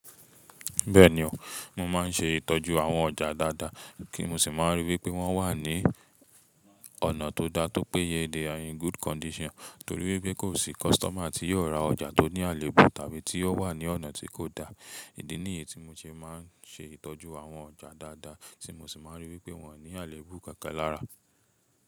Bẹ́ẹ̀ni o, mo máa ń ṣe ìtọ́jú àwọn ọjà dáadáa kí mo sì máa n ríi wípé wọ́n wà ní ọ̀nà tó dá tó péye they are in good condition, torí wípé kò sí kọ́sítọ́mà tí yóò ra ọjà tó ní àléébù tàbí tí ó wà ní ọ̀nà tí kò dá. Ìdí nìyí tí mo ṣe máa ń ṣe ìtọ́jú àwọn ọjà dáadáa tí mo sì máa ríi wípé wọn ko ní àléébù kankan lára.